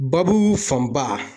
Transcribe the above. Babu fanba